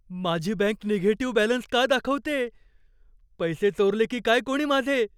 माझी bank negative balance का दाखवतेय? पैसे चोरले की काय कोणी माझे?